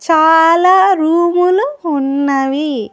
చాలా రూములు ఉన్నవి.